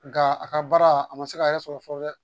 Nka a ka baara a ma se k'a yɛrɛ sɔrɔ fɔlɔ dɛ